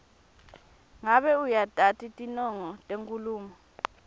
ngabe uyatati tinongo tenkhulumo